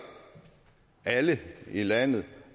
alle i landet